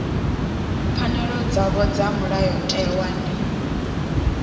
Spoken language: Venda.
pfanelo dzavho dza mulayotewa ndi